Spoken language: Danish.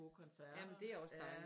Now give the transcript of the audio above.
Gode koncerter